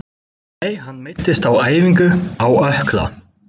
Nei hann meiddist á æfingu, á ökkla.